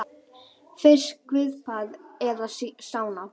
Finnskt gufubað eða sána.